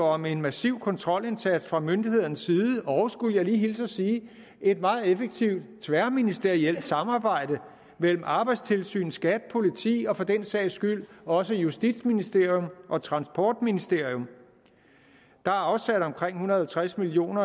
om en massiv kontrolindsats fra myndighedernes side og skulle jeg lige hilse og sige et meget effektivt tværministerielt samarbejde mellem arbejdstilsynet skat politi og for den sags skyld også justitsministeriet og transportministeriet der er afsat omkring en hundrede og tres million